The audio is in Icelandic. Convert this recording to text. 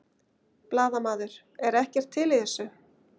Blaðamaður: Er ekkert til í þessu?